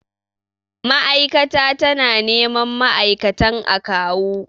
Mai'aikata ta na neman ma'aikatan a kawu